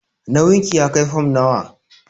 Nauyin ki ya kai fam nawa?